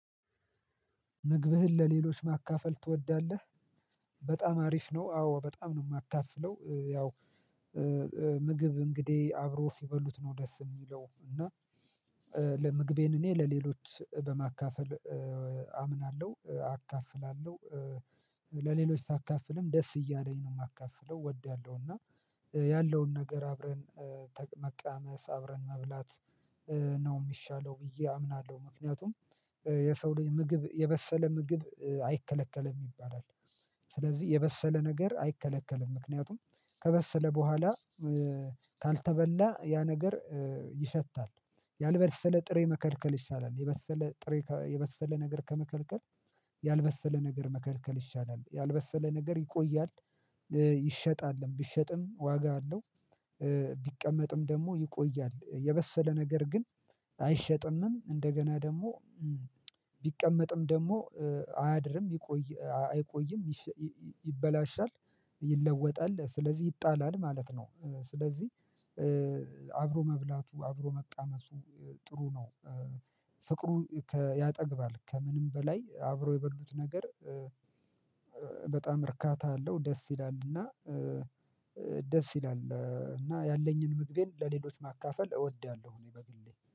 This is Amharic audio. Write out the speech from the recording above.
ምግብህን ለሌሎች ማካፈል ትወዳለህ በጣም አሪፍ ነው አዎ በጣም ነው የማካፍለው ያው ምግብ እንግዲህ አብሮ ሲበሉት ነው ደስ የሚለው እና ለምግቤን እኔ ለሌሎች በማካፈል አምናለሁ አካፍላለሁ ለሌሎች ሳካፍልም ደስ እያለኝ ነው የማካፍለው እወዳለሁ እና ያለውን ነገር አብረን ተግ መቃመስ አብረን መብላት ነው ሚሻለው ብዬ አምናለሁ ምክንያቱም የሰው ልጅ ምግብ የበሰለ ምግብ አይከለከለም ይባላል ስለዚህ የበሰለ ነገር አይከለከልም ምክንያቱም ከበሰለ በኋላ ካልተበላ ያ ነገር ይሸታል ያልበሰለ ጥሬ መከልከል ይሻላል የበሰለ ጥሬ የበሰለ ነገር ከመከልከል ያልበሰለ ነገር መከልከል ይሻላል ያልበሰለ ነገር ይቆያል ይሸጣልም ቢሸጥም ዋጋ አለው ቢቀመጥም ደሞ ይቆያል የበሰለ ነገር ግን አይሸጥምም እንደገና ደሞ ቢቀመጥም ደሞ አያድርም ይቆይ አይቆይም ይሸ ይይ ይበላሻል ይለወጣል ስለዚህ ይጣላል ማለት ነው። ስለዚህ አብሮ መብላቱ አብሮ መቃመሱ ጥሩ ነው። ፍቅሩ ይከ ያጠግባል ከምንም በላይ አብሮ የበሉት ነገር በጣም እርካታ አለው ደስ ይላልና ደስ ይላል እና ያለኝን ምግቤን ለሌሎች ማካፈል እወዳለሁ እኔ በግሌ